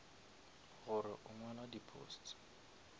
gore o ngwala di posts